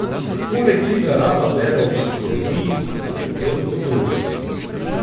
Poleg tega rada bere o psihologiji, predvsem otroški.